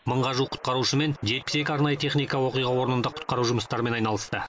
мыңға жуық құтқарушы мен жетпіс екі арнайы техника оқиға орнында құтқару жұмыстарымен айналысты